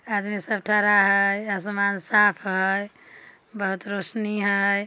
आदमी सब ठरा है। असमान साफ़ है। बहुत रौशनी है।